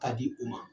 K'a di u ma